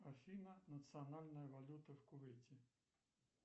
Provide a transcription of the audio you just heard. афина национальная валюта в кувейте